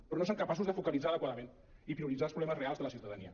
però no són capaços de focalitzar adequadament i prioritzar els problemes reals de la ciutadania